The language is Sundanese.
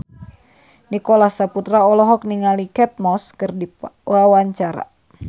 Nicholas Saputra olohok ningali Kate Moss keur diwawancara